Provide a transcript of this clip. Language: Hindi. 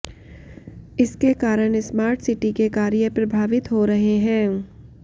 इसके कारण स्मार्ट सिटी के कार्य प्रभावित हो रहे हैं